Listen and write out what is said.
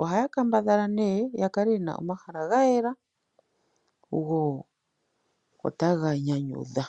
Ohaya kambadhala nee ya kale ye na omahala gayela go otaga nyanyudha.